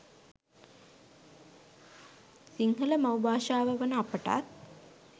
සිංහල මව් භාෂාව වන අපටත්